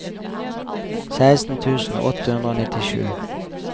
seksten tusen åtte hundre og nittisju